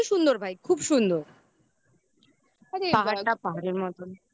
দুটোই সুন্দর ভাই. খুব সুন্দর আরে পাহাড় টা পাহাড়ের মতন